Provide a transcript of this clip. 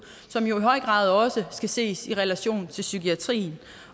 som jo i høj grad også skal ses i relation til psykiatrien